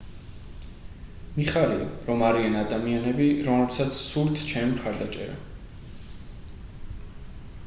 მიხარია რომ არიან ადამიანები რომლებსაც სურთ ჩემი მხარდაჭერა